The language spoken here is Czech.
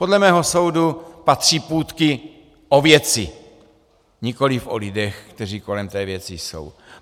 Podle mého soudu patří půtky o věci, nikoliv o lidech, kteří kolem té věci jsou.